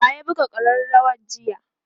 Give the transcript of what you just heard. wa ya buga karrawar jiya?